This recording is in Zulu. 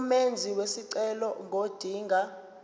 umenzi wesicelo ngodinga